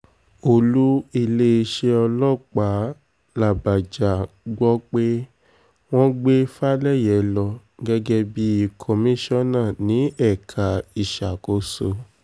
olú iléeṣẹ́ ọlọ́pàá làbàjá la gbọ́ pé wọ́n gbé falẹyé lọ gẹ́gẹ́ bíi komisanna ní ẹ̀ka ìṣàkóso